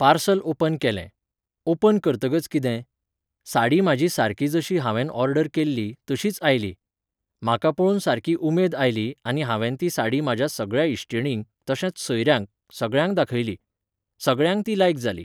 Parcel open केलें. Open करतगच कितें? साडी म्हाजी सारकी जशी हांवेंन ऑर्डर केल्ली, तशीच आयली. म्हाका पळोवन सारकी उमेद आयली आनी हांवेन ती साडी म्हाज्या सगळ्यां इश्टिणींक, तशेंच सोयऱ्यांक, सगळ्यांक दाखयली. सगळ्यांक ती लायक जाली